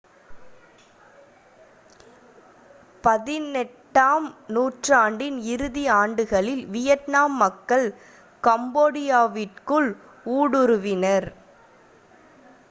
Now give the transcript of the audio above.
18 ஆம் நூற்றாண்டின் இறுதி ஆண்டுகளில் வியட்நாம் மக்கள் கம்போடியாவிற்குள் ஊடுருவினர்